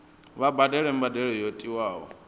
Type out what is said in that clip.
vha badele mbadelo yo tiwaho